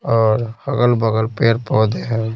और अगल-बगल पेड़ पौधे हैं।